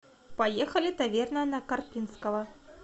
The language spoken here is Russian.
поехали таверна на карпинского